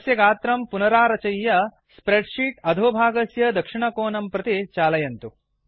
तस्य गात्रं पुनरारचय्य स्प्रेड् शीट् अधोभागस्य दक्षिणकोनं प्रति चालयन्तु